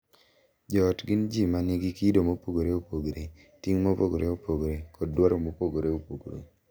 Jo ot gin ji ma nigi kido mopogore opogore, ting’ mopogore opogore, kod dwaro mopogore opogore,